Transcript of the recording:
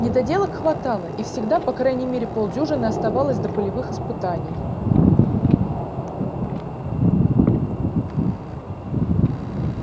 недоделок хватало и всегда по крайней мере полдюжины оставалось до полевых испытаний